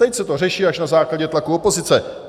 Teď se to řeší až na základě tlaku opozice.